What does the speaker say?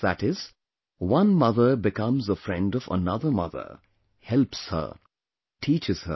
That is, one mother becomes a friend of another mother, helps her, and teaches her